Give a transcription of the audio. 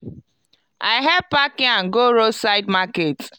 i help pack yam go roadside market.